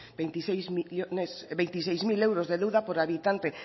veintiseis mil euros de deuda por habitante